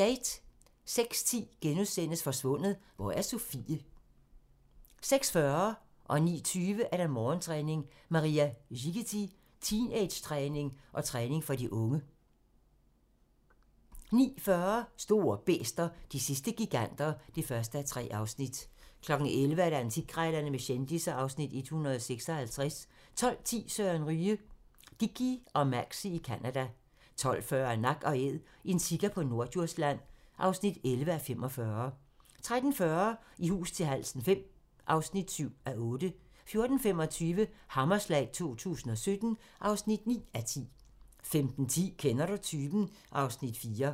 06:10: Forsvundet - Hvor er Sofie? (Afs. 3)* 06:40: Morgentræning: Maria Szighety - teenagetræning og træning for de unge 09:20: Morgentræning: Maria Szighety - teenagetræning og træning for de unge 09:40: Store bæster - de sidste giganter (1:3) 11:00: Antikkrejlerne med kendisser (Afs. 156) 12:10: Søren Ryge: Dickie og Maxie i Canada 12:40: Nak & Æd - en sika på Norddjursland (11:45) 13:40: I hus til halsen V (7:8) 14:25: Hammerslag 2017 (9:10) 15:10: Kender du typen? (Afs. 4)